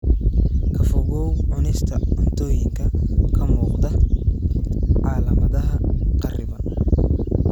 Ka fogow cunista cuntooyinka ka muuqda calaamadaha kharriban.